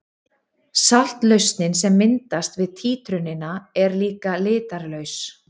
Saltlausnin sem myndast við títrunina er líka litarlaus.